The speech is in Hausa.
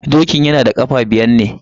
Dokin yana da kafa biyar ne.